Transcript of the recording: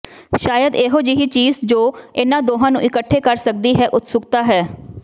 ਸ਼ਾਇਦ ਇਹੋ ਜਿਹੀ ਚੀਜ਼ ਜੋ ਇਨ੍ਹਾਂ ਦੋਹਾਂ ਨੂੰ ਇਕੱਠੇ ਕਰ ਸਕਦੀ ਹੈ ਉਤਸੁਕਤਾ ਹੈ